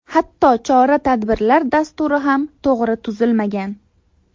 Hatto chora-tadbirlar dasturi ham to‘g‘ri tuzilmagan.